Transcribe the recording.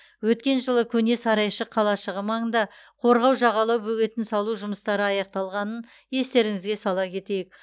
өткен жылы көне сарайшық қалашығы маңында қорғау жағалау бөгетін салу жұмыстары аяқталғанын естеріңізге сала кетейік